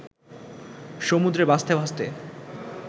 সমুদ্রে ভাসতে ভাসতে